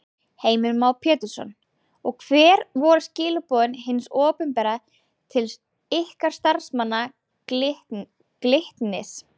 Heimir Már Pétursson: Og hver voru skilaboð hins opinbera til ykkar starfsmanna Glitnis?